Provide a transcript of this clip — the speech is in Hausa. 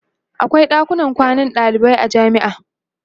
akwai ɗakunan kwanan dalibai a jamia